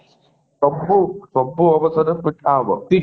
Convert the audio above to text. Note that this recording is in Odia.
ସବୁ ସବୁ ଅବସରରେ ପିଠା ହେବ